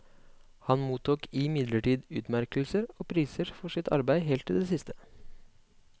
Han mottok imidlertid utmerkelser og priser for sitt arbeid helt til det siste.